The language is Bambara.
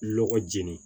Lɔgɔ jeni